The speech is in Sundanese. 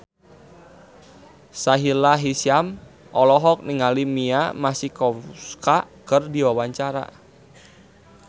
Sahila Hisyam olohok ningali Mia Masikowska keur diwawancara